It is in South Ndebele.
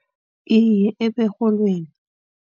Iye eberholweni.